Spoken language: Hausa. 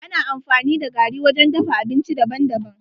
Ana amfani da gari wajen dafa abinci daban daban.